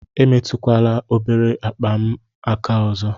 Emetụkwala obere akpa m aka ọzọ!